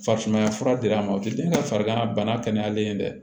Farisumaya fura dir'a ma o tɛ den ka farigan bana kɛnɛyalen ye dɛ